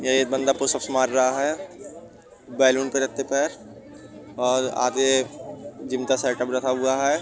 ये एक बंदा पुश अप्स मार रहा है बेलून पे रखते पैर और आधे जिम का सेटअप रखा हुवा है।